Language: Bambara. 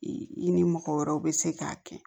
I ni mɔgɔ wɛrɛw bɛ se k'a kɛ